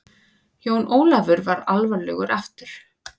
Jón Ólafur varð alvarlegur aftur.